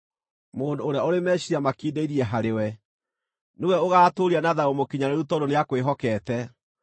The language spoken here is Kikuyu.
Mũndũ ũrĩa ũrĩ meciiria makindĩirie harĩwe-rĩ, nĩwe ũgaatũũria na thayũ mũkinyanĩru tondũ nĩakwĩhokete.